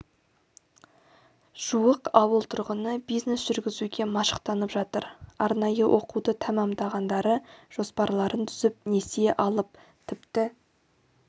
жуық ауыл тұрғыны бизнес жүргізуге машықтанып жатыр арнайы оқуды тәмамдағандары жоспарларын түзіп несие алып тіпті